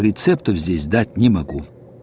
рецептев здесь дать не могу